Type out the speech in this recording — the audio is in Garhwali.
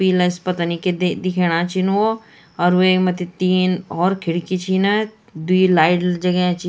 पीला स पतनी क्य दे दिखेणा छीन वो अर वेक मथ्थी तीन होर खिड़की छिन द्वि लाइट जग्याँ छिं।